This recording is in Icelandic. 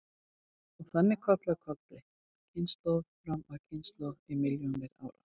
Og þannig koll af kolli, kynslóð fram af kynslóð í milljónir ára.